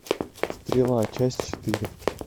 стрела часть четыре